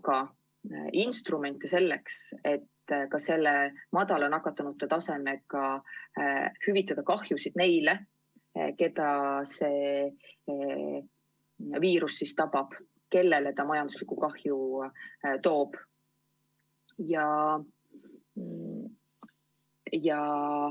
Aga instrument selleks, et ka madala nakatumuse taseme korral hüvitada kahjusid neile, keda see viirus tabab, kellele see majanduslikku kahju toob, on haiguspäevade heldem hüvitamine.